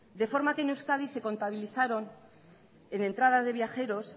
de forma que en euskadi se contabilizaron en entradas de viajeros